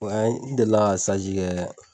n delila ka kɛ